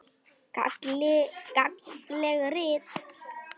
Gagnleg rit